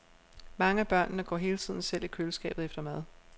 Mange af børnene går hele tiden selv i køleskabet efter mad.